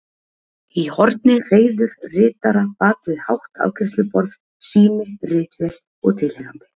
Í horni hreiður ritara bak við hátt afgreiðsluborð, sími, ritvél og tilheyrandi.